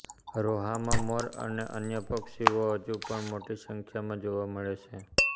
રોહામાં મોર અને અન્ય પક્ષીઓ હજુ પણ મોટી સંખ્યામાં જોવા મળે છે